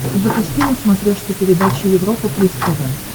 запусти на смотрешке передачу европа плюс тв